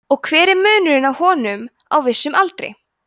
og hver er munurinn á honum á vissum aldri